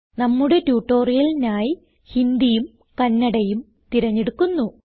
നമ്മുടെ ട്യൂട്ടോറിയലിനായി ഹിന്ദിയും കന്നഡയും തിരഞ്ഞെടുക്കുന്നു